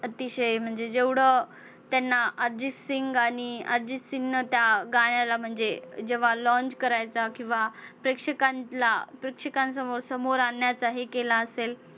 अतिशय म्हणजे जेवढं त्यांना अर्जितसिंग आणि अर्जितसिंगनं त्या गाण्याला म्हणजे जेव्हा launch करायचा किंवा प्रेक्षकांसमोर समोर आणण्यात हे केलं असेल.